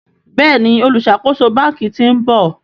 Béèni oluṣakoso bánkì t'in bò.